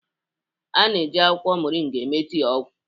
A na-eji akwụkwọ Moringa eme tii ọgwụ.